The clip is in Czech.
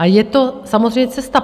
A je to samozřejmě cesta.